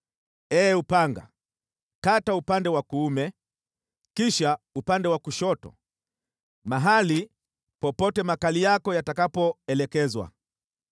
Ee upanga, kata upande wa kuume, kisha upande wa kushoto, mahali popote makali yako yatakapoelekezwa.